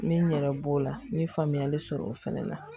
N bɛ n yɛrɛ b'o la n ye faamuyali sɔrɔ o fɛnɛ la